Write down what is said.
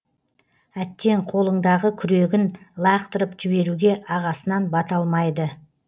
әттең қолындағы күрегін лақтырып жіберуге ағасынан бата алмайды